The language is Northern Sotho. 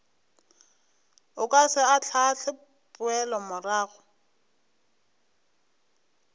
o ka se ahlaahle poelomorago